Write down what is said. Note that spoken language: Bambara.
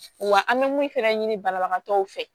Wa an bɛ mun fɛnɛ ɲini banabagatɔw fɛ